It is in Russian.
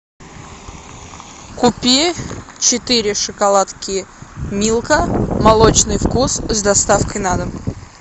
купи четыре шоколадки милка молочный вкус с доставкой на дом